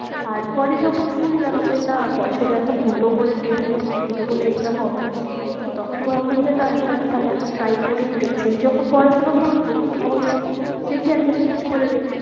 তারপরে যখন শুনলাম যে না বছরে এখন দুটো করে TET হচ্ছে, দুটো করে exam হবে তো তখন ভাবলাম যে না একবার তাহলে এখন try করেই দেখি সেই যখন পড়াশোনা করবো তাহলে দেখি একবার switch করে